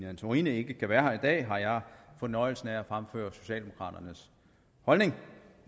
antorini ikke kan være her i dag har jeg fornøjelsen af at fremføre socialdemokraternes holdning